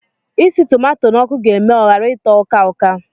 Isi tomato n'ọkụ ga eme ọ ghara ịtọ uka-uka